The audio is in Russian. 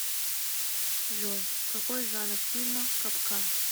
джой какой жанр фильма капкан